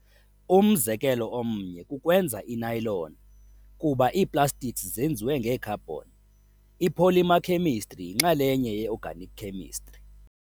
Umzekelo omnye kukwenza i-nylon. Kuba ii-plastics zenziwe ngee-carbon, i-polymer khemistri yinxalenye ye-organic chemistry.